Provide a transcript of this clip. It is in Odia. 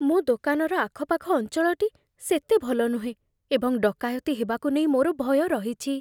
ମୋ ଦୋକାନର ଆଖପାଖ ଅଞ୍ଚଳଟି ସେତେ ଭଲ ନୁହେଁ, ଏବଂ ଡକାୟତି ହେବାକୁ ନେଇ ମୋର ଭୟ ରହିଛି